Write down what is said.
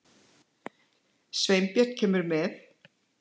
Sveinbjörn kemur með.